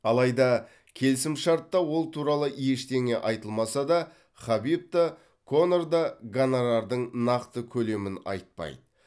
алайда келісімшартта ол туралы ештеңе айтылмаса да хабиб та конор да гонорардың нақты көлемін айтпайды